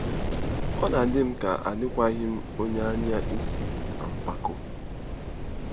Ọ na-adị m ka adịkwaghị m onye anya isi na mpako.